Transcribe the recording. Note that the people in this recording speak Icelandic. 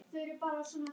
Sesar á eftir henni.